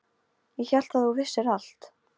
Ég hélt að þú vissir allt.